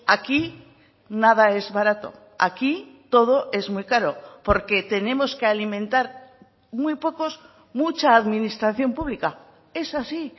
aquí nada es barato aquí todo es muy caro porque tenemos que alimentar muy pocos mucha administración pública es así